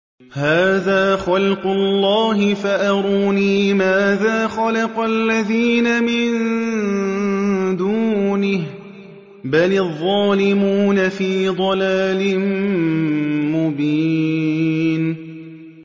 هَٰذَا خَلْقُ اللَّهِ فَأَرُونِي مَاذَا خَلَقَ الَّذِينَ مِن دُونِهِ ۚ بَلِ الظَّالِمُونَ فِي ضَلَالٍ مُّبِينٍ